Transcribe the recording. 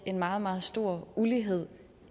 en meget meget stor ulighed